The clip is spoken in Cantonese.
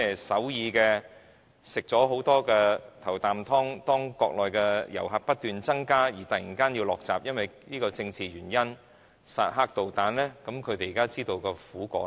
首爾曾在中國內地遊客不斷增加時吃到"頭啖湯"，現時卻因為裝置薩德導彈這個政治原因而突然嘗到苦果了。